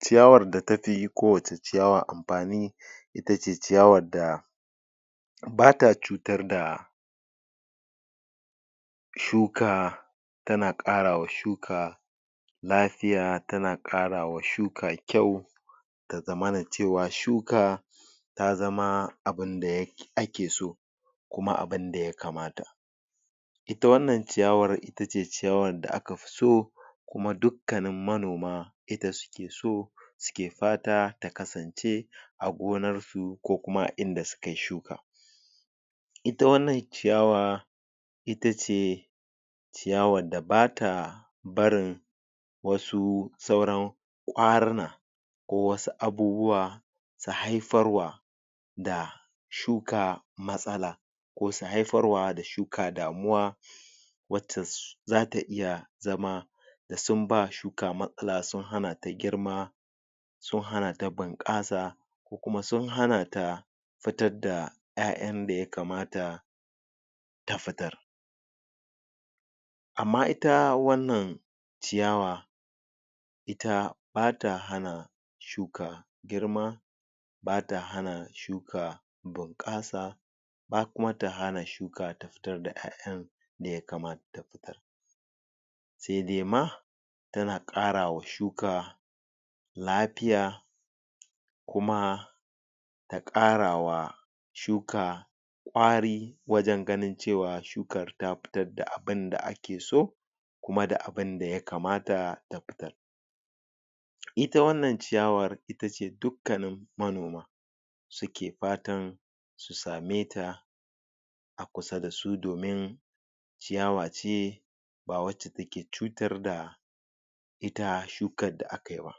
Ciyawar da tafi ko wace ciyawa amfani itace ciyawar da bata cutar da shuka tana ƙara wa shuka lafiya tana ƙara wa shuka kyau ta zamana cewa shuka ta zama abunda ake so kuma abunda ya kamata ita wannan ciyawar itace ciyawar da aka fi so kuma dukkanin manoma ita suke so suke fata ta kasance a gonar su ko kuma a inda suka yi shuka ita wannan ciyawa Ita ce ciyawar da bata barin wasu sauran ƙwaruna ko wasu abubuwa su haifar wa da shuka matsala ko su haifar wa da shuka damuwa? zata iya zama da sun ba shuka matsala sun hana ta girma don hana ta bunƙasa ko kuma sun hana ta fitar da ƴaƴan da ya kamata ta fitar amma ita wannan ciyawa ita bata hana shuka girma bata hana shuka bunƙasa ba kuma ta hana shuka ta fitar da ƴaƴan da ya kamata sai dai ma tana ƙara wa shuka lafiya kuma da ƙara wa shuka ƙwari wajen ganin cewa shuka ta fitar da abunda ake so kuma da abunda ya kamata ta fitar ita wannan ciyawar itace dukkanin manoma suke fatan su same ta a kusa da su domin ciyawa ce ba wacce take cutar da ita shukar da aka yi ba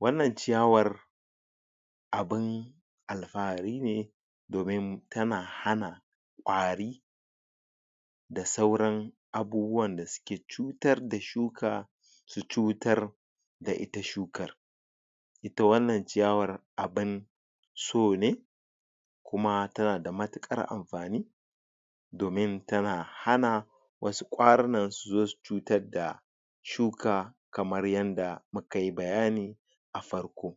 wannan ciyawar abun alfahari ne domin tana hana ƙwari da sauran abubuwan da suke cutar da shuka su cutar da ita shukar ita wannan ciyawar abun so ne kuma tana da matuƙar amfani domin tana hana wasu ƙwarunan su zo su cutar da shuka kamar yadda muka yi bayani a farko